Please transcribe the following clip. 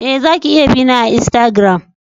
Eh, za ki iya bi na a insagiram.